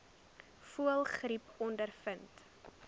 voëlgriep ondervind